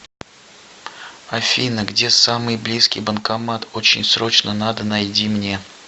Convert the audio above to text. афина где самый близкий банкомат очень срочно надо найди мне